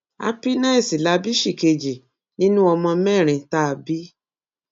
happiness la bí ṣìkejì nínú ọmọ mẹrin tá a bí